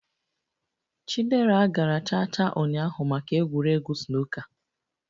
Chidera gara cha cha ụnyaahụ maka egwuregwu snooker